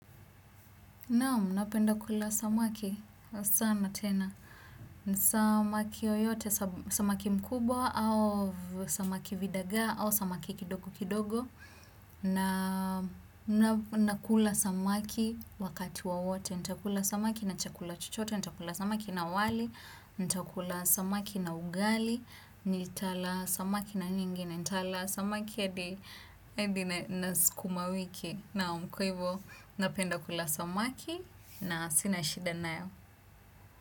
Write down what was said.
Naam, napenda kula samaki, sana tena. Samaki yoyote, samaki mkubwa, au samaki vidagaa, au samaki kidogo kidogo. Na kula samaki wakati wowote, nitakula samaki na chakula chochote, nitakula samaki na wali, nitakula samaki na ugali, nitala samaki na nyingine, nitala samaki ya adi na sukumawiki. Naam kwa ivo napenda kula samaki na sina shida nayo.